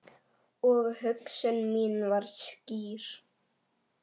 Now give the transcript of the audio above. Og hugsun mín var skýr.